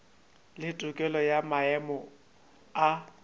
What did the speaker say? le tokelo ya maemo a